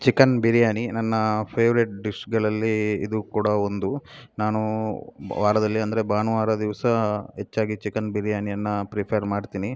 Chicken biryani ನನ್ನ favourite ಡಿಶ್‌ಗಳಲ್ಲಿ ಇದೂ ಕೂಡಾ ಒಂದು ನಾನು ವಾರದಲ್ಲಿ ಅಂದರೆ ಭಾನುವಾರ ದಿವಸ ಹೆಚ್ಚಾಗಿ ಚಿಕನ್‌ ಬಿರಿಯಾನಿಯನ್ನ ಪ್ರಿಫರ್ ಮಾಡ್‌ತೀನಿ.